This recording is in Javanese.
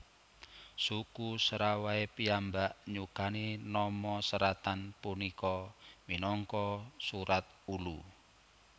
Suku Serawai piyambak nyukani nama seratan punika minangka Surat Ulu